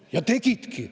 Ja tegidki.